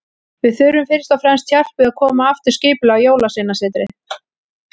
Við þurfum fyrst og fremst hjálp við að koma aftur skipulagi á Jólasveinasetrið.